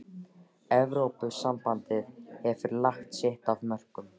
Evrópusambandið hefur lagt sitt af mörkum.